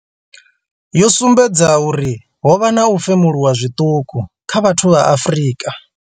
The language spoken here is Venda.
yo sumbedza uri ho vha na u femuluwa zwiṱuku kha vhathu vha Afrika.